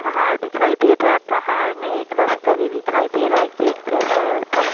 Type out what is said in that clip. पहाड़ दिखाई दे रहा है पहाड़ में एक रास्ता भी दिखाई दे रहा है गेट जैसा है ऊपर में ।